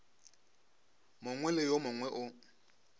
mongwe le yo mongwe o